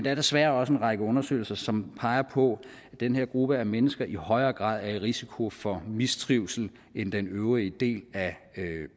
er desværre også en række undersøgelser som peger på at den her gruppe af mennesker i højere grad er i risiko for mistrivsel end den øvrige del af